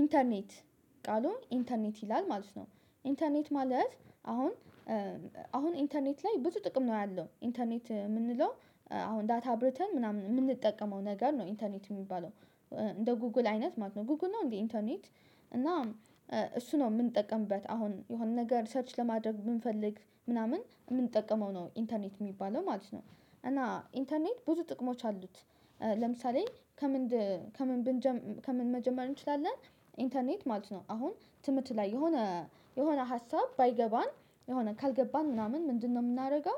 ኢንተርኔት ቃሉ ኢንተርኔት ይላል ማለት ነው ኢንተርኔት ማለት አሁን አሁን ኢንተርኔት ላይ ብዙ ጥቅም ነው ያለው ኢንተርኔት የምንለው አሁን ዳታ አብረተን ምናምን የምንጠቀመው ነገር ነው ኢንተርኔት የሚባለው። እንደ ጎግል አይነት ማለት ነው ጎግል ነው እንዴ? ኢንተርኔት እና እሱ ነው የምንጠቀምበት አሁን የሆነ ነገር ሰርች ለማድረግ ብንፈልግ ምናምን የምንጠቀመው ነው ኢንተርኔት የሚባለው ማለት ነው። እና ኢንተርኔት ብዙ ጥቅሞች አሉት። ለምሳሌ ከምንድ ከምን ከምን ብንጀ ከምን መጀመር እንችላለን? ኢንተርኔት ማለት ነው አሁን ትምህርት ላይ የሆነ የሆነ ሀሳብ ባይገባን የሆነ ካልገባን ምናምን ምንድነው የምናደርገው?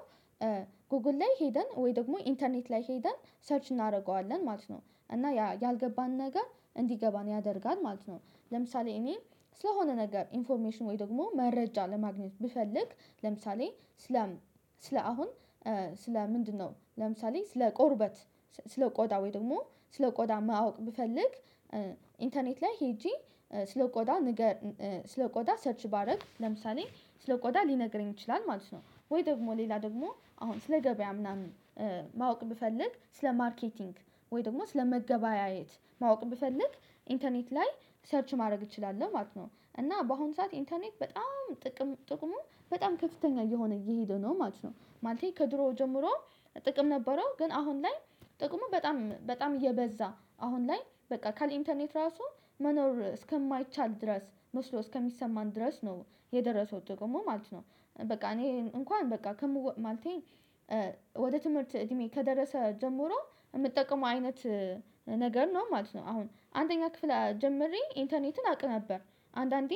ጎግል ላይ ሄደን ወይ ደግሞ ኢንተርኔት ላይ ሄደን ሰርች እናደርገዋለን ማለት ነው እና ያ ያልገባን ነገር እንዲገባን ያደርጋል ማለት ነው። ለምሳሌ እኔ ስለሆነ ነገር ኢንፎርሜሽን ወይ ደግሞ መረጃ ለማግኘት ብፈልግ ለምሳሌ ስለ ስለ አሁን ስለ ምንድነው ለምሳሌ ስለ ቆርበት ስለ ቆዳ ወይም ደግሞ ስለ ቆዳ ማወቅ ብፈልግ። ኢንተርኔት ላይ ሄጄ ስለቆዳ ንገር ስለቆዳ ሰርች ባደርግ ለምሳሌ ስለ ቆዳ ሊነግረኝ ይችላል ማለት ነው። ወይ ደግሞ ሌላ ደግሞ አሁን ስለ ገበያ ምናምን። ማወቅ ብፈልግ ስለ ማርኬቲንግ ወይ ደግሞ ስለ ስለመገበያየት ማወቅ ብፈልግ ኢንተርኔት ላይ ሰርች ማድረግ እችላለሁ ማለት ነው። እና በአሁን ሰዓት ኢንተርኔት በጣም ጥቅም ጥቅሙ በጣም ከፍተኛ እየሆነ እየሄደ ነው ማለት ነው። ማለቴ ከድሮ ጀምሮ ጥቅም ነበረው ግን አሁን ላይ ጥቅሙ በጣም በጣም እየበዛ አሁን ላይ በቃ ካለ ኢንተርኔት ራሱ መኖር እስከማይቻል ድረስ መስሎ እስከሚሰማን ድረስ ነው የደረሰው ጥቅሙ ማለት ነው። በቃ እኔ እንኳን በቃ ከምወ ማለቴ። ወደ ትምህርት እድሜ ከደረሰ ጀምሮ የምጠቀመው አይነት ነገር ነው ማለት ነው። አሁን አንደኛ ክፍል ጀምሬ ኢንተርኔትን አቅ ነበር። አንዳንዴ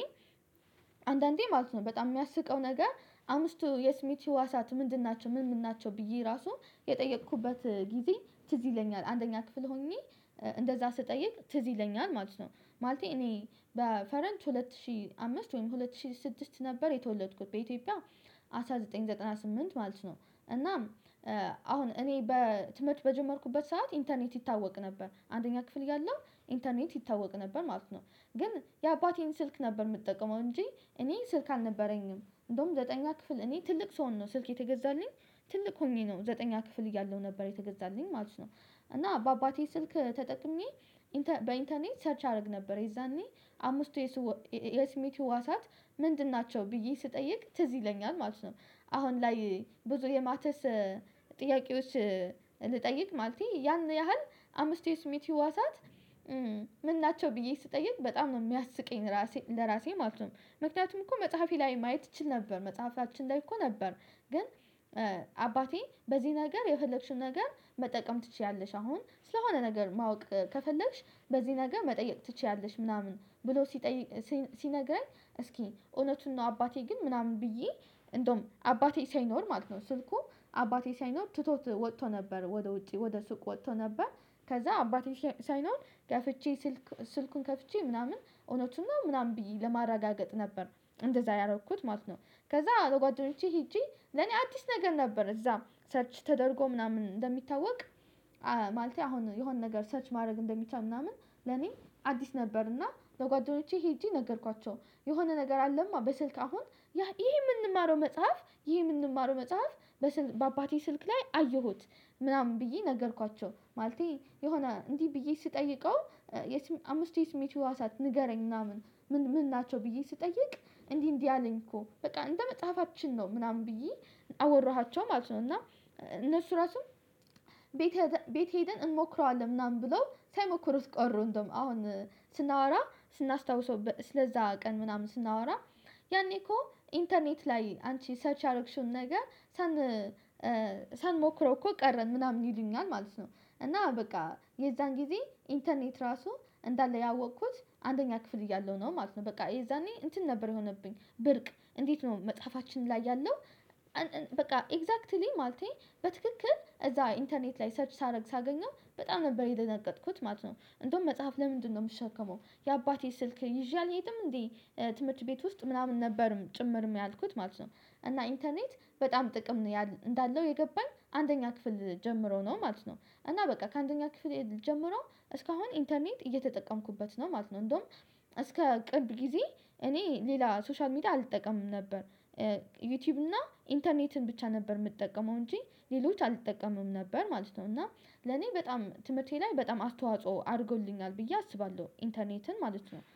አንዳንዴ ማለት ነው በጣም የሚያስቀው ነገር አምስቱ የስሜት ህዋሳት ምንድን ናቸው ምን ምን ናቸው? ብዬ ራሱ የጠየኩበት ጊዜ ትዝ ይለኛል አንደኛ ክፍል ሆኜ እንደዛ ስጠይቅ ትዝ ይለኛል ማለት ነው። ማለቴ እኔ በፈረንጅ ሁለት ሺህ አምስት ወይም ሁለት ሺህ ስድስት ነበር የተወለድኩት በኢትዮጵያ አስራ ዘጠኝ ዘጠና ስምንት ማለት ነው። እናም አሁን እኔ በትምህርት በጀመርኩበት ሰዓት ኢንተርኔት ይታወቅ ነበር አንደኛ ክፍል እያለሁ ኢንተርኔት ይታወቅ ነበር ማለት ነው። ግን የአባቴን ስልክ ነበር የምጠቀመው እንጂ እኔ ስልክ አልነበረኝም እንደውም ዘጠነኛ ክፍል እኔ ትልቅ ስሆን ነው ስልክ የተገዛልኝ። ትልቅ ሆኜ ነው ዘጠነኛ ክፍል እያለሁ ነበር የተገዛልኝ ማለት ነው። እና በአባቴ ስልክ ተጠቅሜ በኢንተርኔት ሰርች አደረግ ነበር የዛኔ አምስቱ የስሜት ህዋሳት ምንድን ናቸው ብዬ ስጠይቅ ትዝ ይለኛል ማለት ነው። አሁን ላይ ብዙ የማተስ ጥያቄዎች ልጠይቅ ማለቴ ያን ያህል አምስቱ የስሜት ህዋሳት ምን ናቸው ብዬ ስጠየቅ በጣም ነው የሚያስቀኝ ለራሴ ማለት ነው። ምክንያቱም እኮ መጽሐፌ ላይ ማየት እችል ነበር መጽሐፋችን ላይ እኮ ነበር። ግን አባቴ በዚህ ነገር የፈለግሽው ነገር መጠቀም ትችያለሽ አሁን ስለሆነ ነገር ማወቅ ከፈለግሽ በዚህ ነገር መጠየቅ ትችያለሽ ምናምን ብሎ ሲጠይ ሲነግረኝ እስኪ እውነቱን ነው አባቴ ግን ምናምን ብዬ እንደውም አባቴ ሳይኖር ማለት ነው ስልኩ አባቴ ሳይኖር ትቶት ወጥቶ ነበር ወደ ውጪ ወደ ሱቅ ወጥቶ ነበር ከዛ አባቴ ሳይኖር ከፍቼ ስልክ ስልኩን ከፍቼ ምናምን እውነቱን ነው ምናምን ብዬ ለማረጋገጥ ነበር እንደዛ ያደረኩት ማለት ነው። ከዛ ለጓደኞቼ ሄጄ ለኔ አዲስ ነገር ነበር እዛ ሰርች ተደርጎ ምናምን እንደሚታወቅ። ማለቴ አሁን የሆነ ነገር ሰርች ማድረግ እንደሚቻል ምናምን ለኔ አዲስ ነበር እና ለጓደኞቼ ሄጄ ነገርኳቸው የሆነ ነገር አለማ በስልክ አሁን ያ ይሄ የምንማረው መጽሐፍ ይሄ የምንማረው መጽሐፍ በአባቴ ስልክ ላይ አየሁት። ምናምን ብዬ ነገርኳቸው ማለቴ የሆነ እንዲህ ብዬ ስጠይቀው አምስት የስሜት ህዋሳት ንገረኝ ምናምን ምን ናቸው ብዬ ስጠይቅ እንዲህ እንዲህ አለኝ እኮ በቃ እንደ መጽሐፋችን ነው ምናምን ብዬ አወራኋቸው ማለት ነው። እና እነሱ ራሱም ቤት ቤት ሄደን እንሞክረዋለን ምናምን ብሎ ሳይሞክሩት ቀሩ እንደውም አሁን ስናወራ ስናስታውሰው ስለዛ ቀን ምናምን ስናወራ ያኔ እኮ ኢንተርኔት ላይ አንቺ ሰርች ያረግሽውን ነገር ሳን ሳንሞክረው እኮ ቀረን ምናምን ይሉኛል ማለት ነው። እና በቃ የዛን ጊዜ ኢንተርኔት ራሱ እንዳለ ያወቅኩት አንደኛ ክፍል እያለሁ ነው ማለት ነው። በቃ የዛኔ እንትን ነበር የሆነብኝ ብርቅ እንዴት ነው መጽሐፋችን ላይ ያለው? በቃ ኤግዛክትሊ ማለቴ በትክክል እዛ ኢንተርኔት ላይ ሰርች ሳደርግ ሳገኘው በጣም ነበር የደነገጥኩት ማለት ነው። እንደውም መጽሐፍ ለምንድነው የምሸከመው የአባቴ ስልክ ይዤ አልሄድም እንዴ? ትምህርት ቤት ውስጥ ምናምን ነበርም ጭምርም ያልኩት ማለት ነው። እና ኢንተርኔት በጣም ጥቅም እንዳለው የገባኝ አንደኛ ክፍል ጀምሮ ነው ማለት ነው። እና በቃ ከአንደኛ ኪፍል ጀምሮ እስካሁን ኢንተርኔት እየተጠቀምኩበት ነው ማለት ነው። እንደውም እስከ ቅርብ ጊዜ እኔ ሌላ ሶሻል ሚዲያ አልጠቀምም ነበር። ዩቲዩብ እና ኢንተርኔትን ብቻ ነበር የምጠቀመው እንጂ ሌሎች አልጠቀምም ነበር ማለት ነው። እና ለኔ በጣም ትምህርቴ ላይ በጣም አስተዋጽኦ አድርጎልኛል ብዬ አስባለሁ ኢንተርኔትን ማለት ነው